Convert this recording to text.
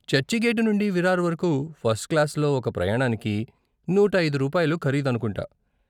చర్చిగేటు నుండి విరార్ వరకు ఫస్ట్ క్లాసులో ఒక ప్రయాణానికి నూట ఐదు రూపాయలు ఖరీదు అనుకుంటా.